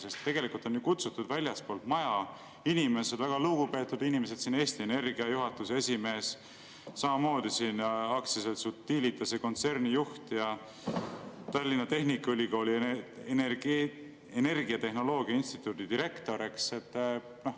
Sest tegelikult on siia kutsutud inimesed väljastpoolt meie maja, väga lugupeetud inimesed: Eesti Energia juhatuse esimees, AS Utilitase kontserni juht, Tallinna Tehnikaülikooli energiatehnoloogia instituudi direktor.